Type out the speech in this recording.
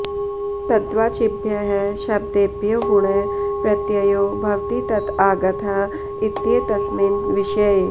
तद्वाचिभ्यः शब्देभ्यो वुञ् प्रत्ययो भवति तत आगतः इत्येतस्मिन् विषये